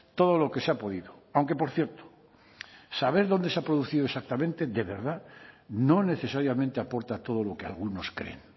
todo lo que se ha podido aunque por cierto saber dónde se ha producido exactamente de verdad no necesariamente aporta todo lo que algunos creen